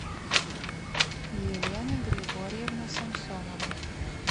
елена григорьевна самсонова